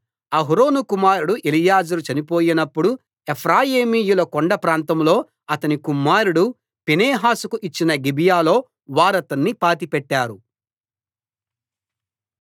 అహరోను కుమారుడు ఎలియాజరు చనిపోయినప్పుడు ఎఫ్రాయీమీయుల కొండప్రాంతంలో అతని కుమారుడు ఫీనెహాసుకు ఇచ్చిన గిబియాలో వారతన్ని పాతిపెట్టారు